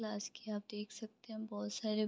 class के आप देख सकते हैं बहोत सारे --